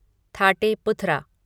Thate पुथरा